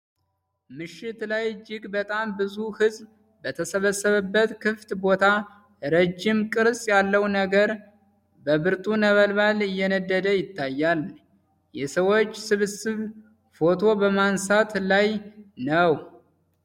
ምሽት ላይ እጅግ በጣም ብዙ ሕዝብ በተሰበሰበበት ክፍት ቦታ፣ ረዥም ቅርፅ ያለው ነገር በብርቱ ነበልባል እየነደደ ይታያል። የሰዎች ስብስብ ፎቶ በማንሳት ላይ ነው።